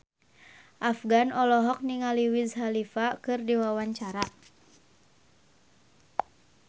Afgan olohok ningali Wiz Khalifa keur diwawancara